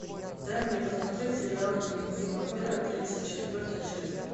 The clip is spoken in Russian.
дай мне посмотреть сериал дневники вампира тридцать четвертая часть